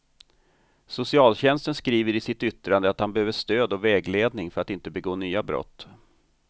Socialtjänsten skriver i sitt yttrande att han behöver stöd och vägledning för att inte begå nya brott.